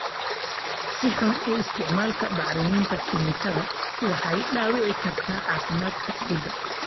Si xun u isticmaalka bacriminta kiimikada waxay dhaawici kartaa caafimaadka ciidda.